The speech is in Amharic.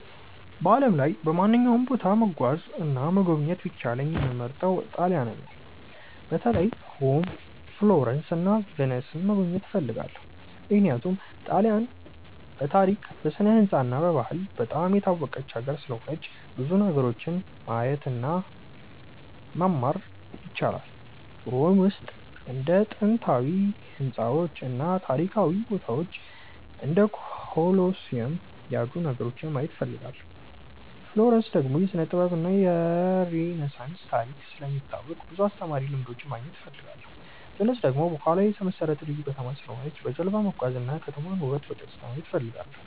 በዓለም ላይ በማንኛውም ቦታ መጓዝ እና መጎብኘት ቢቻለኝ የምመርጠው ጣሊያንን ነው። በተለይ ሮም፣ ፍሎረንስ እና ቪንስን መጎብኘት እፈልጋለሁ። ምክንያቱም ጣሊያንን በታሪክ፣ በስነ-ሕንፃ እና በባህል በጣም የታወቀች ሀገር ስለሆነች ብዙ ነገሮችን ማየት እና መማር ይቻላል። ሮም ውስጥ እንደ ጥንታዊ ሕንፃዎች እና ታሪካዊ ቦታዎች እንደ ኮሎሲየም ያሉ ነገሮችን ማየት እፈልጋለሁ። ፍሎረንስ ደግሞ የስነ-ጥበብ እና የሬነሳንስ ታሪክ ስለሚታወቅ ብዙ አስተማሪ ልምዶች ማግኘት እፈልጋለሁ። ቪንስ ደግሞ በውሃ ላይ የተመሠረተ ልዩ ከተማ ስለሆነች በጀልባ መጓዝ እና የከተማዋን ውበት በቀጥታ ማየት እፈልጋለሁ።